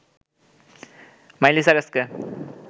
মাইলি সাইরাসকে